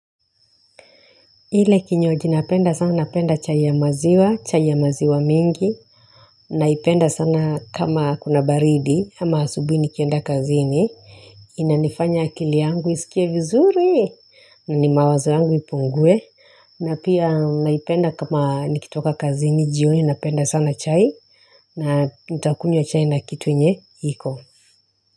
Ile kinywaji napenda sana napenda chai ya maziwa, chai ya maziwa mengi, naipenda sana kama kuna baridi, ama asubuhi nikienda kazini, inanifanya akili yangu isikie vizuri, na ni mawazo yangu ipungue, na pia naipenda kama nikitoka kazini, jioni napenda sana chai, na nitakunywa chai na kitu yenye iko.